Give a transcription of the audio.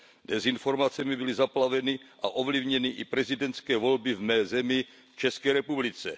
Dezinformacemi byly zaplaveny a ovlivněny i prezidentské volby v mé zemi, České republice.